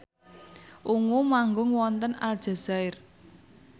Ungu manggung wonten Aljazair